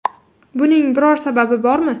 Buning biror sababi bormi?